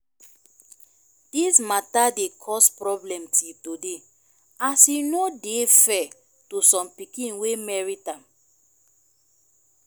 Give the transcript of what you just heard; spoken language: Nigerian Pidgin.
dis mata dey cause problem till today as e no dey fair to som pikin wey merit am